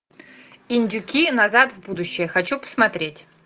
индюки назад в будущее хочу посмотреть